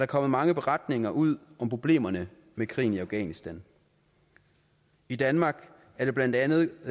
kommet mange beretninger ud om problemerne med krigen i afghanistan i danmark er det blandt andet